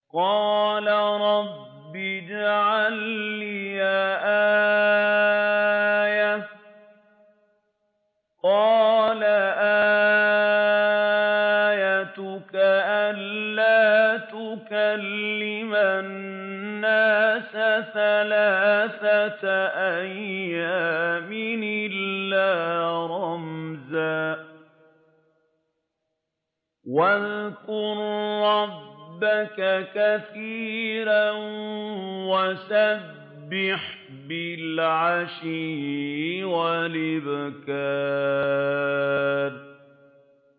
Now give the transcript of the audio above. قَالَ رَبِّ اجْعَل لِّي آيَةً ۖ قَالَ آيَتُكَ أَلَّا تُكَلِّمَ النَّاسَ ثَلَاثَةَ أَيَّامٍ إِلَّا رَمْزًا ۗ وَاذْكُر رَّبَّكَ كَثِيرًا وَسَبِّحْ بِالْعَشِيِّ وَالْإِبْكَارِ